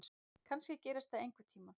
Kannski gerist það einhvern tíma.